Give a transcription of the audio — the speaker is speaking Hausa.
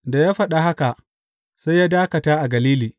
Da ya faɗa haka, sai ya dakata a Galili.